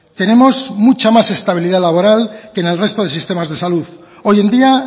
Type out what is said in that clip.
tenemos mucha más estabilidad laboral que en el resto de sistemas de salud hoy en día